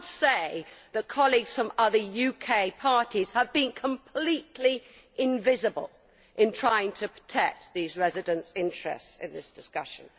I would say that colleagues from other UK parties have been completely invisible in trying to protect these residents' interests in this discussion.